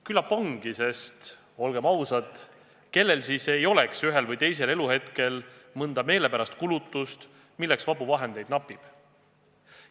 Küllap ongi, sest olgem ausad, kellel siis ei oleks ühel või teisel eluhetkel mõttes mõnda meelepärast kulutust, milleks vabu vahendeid napib.